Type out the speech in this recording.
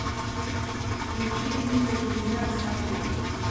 включи митя железняк смотри